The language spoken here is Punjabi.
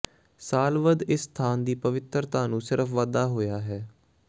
ਸਾਲ ਵੱਧ ਇਸ ਸਥਾਨ ਦੀ ਪਵਿੱਤਰਤਾ ਨੂੰ ਸਿਰਫ ਵਾਧਾ ਹੋਇਆ ਹੈ